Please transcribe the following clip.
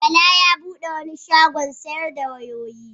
Bala ya bude wani shagon sayar da wayoyi.